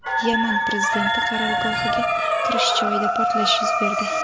Yaman prezidenti qarorgohiga kirish joyida portlash yuz berdi.